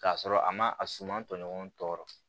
K'a sɔrɔ a ma a suman tɔɲɔgɔn tɔɔrɔ